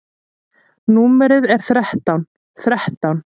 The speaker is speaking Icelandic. Númerið er þrettán þrettán.